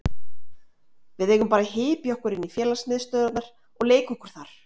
Við eigum bara að hypja okkur inn í félagsmiðstöðvarnar og leika okkur þar.